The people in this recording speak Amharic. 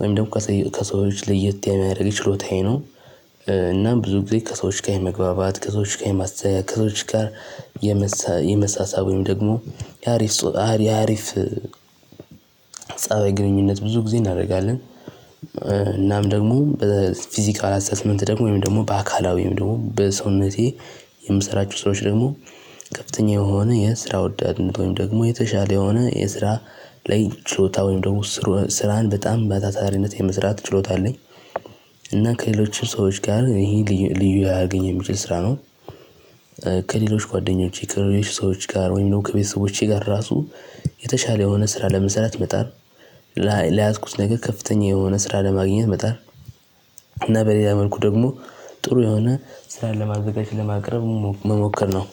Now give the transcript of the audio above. ወይም ደግሞ ከሰዎች ለየት የሚያደርግ ችሎታዬ ነው። እናም ብዙ ጊዜ ከሰዎች ጋር የመግባባት ከሰዎች ጋር ከሰዎች ጋር የመሳሳብ ወይም ደግሞ ያሪፍ ያሪፍ ፀባይ ግንኙነት ብዙ ጊዜ እናደርጋለን። እናም ደግሞ በፊዚካል አሰስመንት ደግሞ ወይም ደግሞ በአካላዊም ወይም ደግሞ በሰውነቴ የምሰራቸው ሰራዎች ደግሞ ከፍተኛ የሆነ የስራ ወዳድነት ወይም ደግሞ የተሻለ የሆነ የስራ ላይ ችሎታ ወይም ደግሞ ስራን በጣም በታታሪነት የመስራት ችሎታ አለኝ። እና ከሌሎች ሰዎች ጋር ይሄ ልዩ ልዩ ሊያረገኝ የሚችል ስራ ነው። ከሌሎች ጓደኞቼ ከሌሎች ሰዎች ጋር ወይም ደግሞ ከቤተሰቦቼ ጋር ራሱ የተሻለ የሆነ ስራ ለመሰራት መጣር የያዝኩት ነገር ከፍተኛ የሆነ ስራ ለማግኘት መጣር እና በሌላ መልኩ ደግሞ ጥሩ የሆነ ስራን ለማዘጋጅ ለማቅረብ መሞከር ነው።